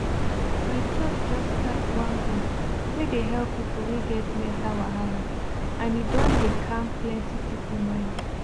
my church just start one group wey dey help people wey get mental wahala and e don dey calm plenty people mind